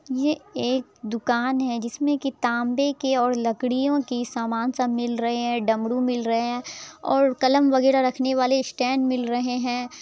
ये एक दुकान है जिसमें के तांबे के और लकड़ियों की समान सब मिल रहे हैं डमरू मिल रहे है और कलम वैगरह रखने के वाले स्टैंड मिल रहे हैं।